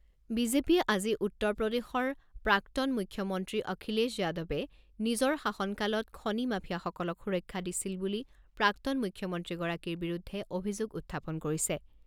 বিজেপিয়ে আজি উত্তৰ প্ৰদেশৰ প্ৰাক্তন মুখ্যমন্ত্ৰী অখিলেশ যাদৱে নিজৰ শাসনকালত খনি মাফিয়াসকলক সুৰক্ষা দিছিল বুলি প্ৰাক্তন মুখ্যমন্ত্ৰীগৰাকীৰ বিৰুদ্ধে অভিযোগ উত্থাপন কৰিছে।